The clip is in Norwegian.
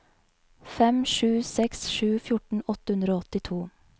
fem sju seks sju fjorten åtte hundre og åttito